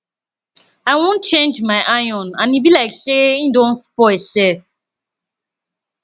i wan change my iron and e be like say e don spoil sef